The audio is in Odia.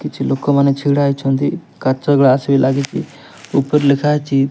କିଛି ଲୋକମାନେ ଛିଡ଼ା ହେଇଛନ୍ତି କାଚ ଗ୍ଲାସ୍ ବି ଲାଗିଚି ଉପରେ ଲେଖା ହେଇଚି --